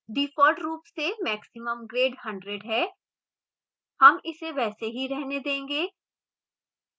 default रूप से maximum grade 100 है हम इसे वैसे ही रहने देंगे